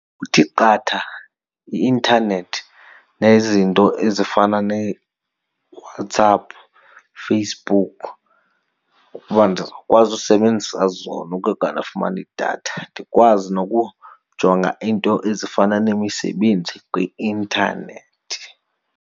Kuthi qatha i-intanethi nezinto ezifana neeWhatsApp, Facebook. Ukuba ndizawukwazi usebenzisa zona kanti ndafumana idatha, ndikwazi nokujonga iinto ezifana nemisebenzi kwi-intanethi.